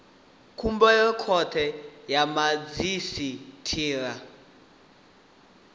khumbelo khothe ya madzhisi ṱira